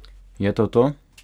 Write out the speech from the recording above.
Je to to?